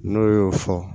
N'o y'o fɔ